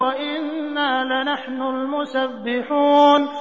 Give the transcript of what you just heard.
وَإِنَّا لَنَحْنُ الْمُسَبِّحُونَ